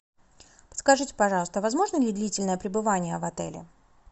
подскажите пожалуйста возможно ли длительное пребывание в отеле